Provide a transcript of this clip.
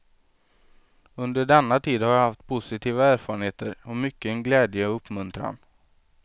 Under denna tid har jag haft positiva erfarenheter och mycken glädje och uppmuntran.